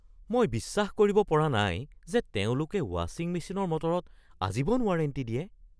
মই বিশ্বাস কৰিব পৰা নাই যে তেওঁলোকে ৱাচিং মেচিনৰ মটৰত আজীৱন ৱাৰেণ্টি দিয়ে।